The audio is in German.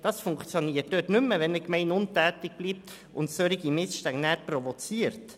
Das funktioniert dort nicht mehr, wo eine Gemeinde untätig bleibt und solche Missstände provoziert.